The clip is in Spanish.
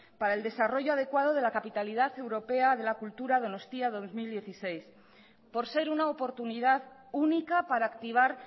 para el desarrollo adecuado de la capitalidad europea de la cultura donostia dos mil dieciséis por ser una oportunidad única para activar